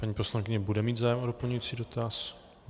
Paní poslankyně bude mít zájem o doplňující dotaz?